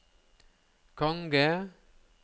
konge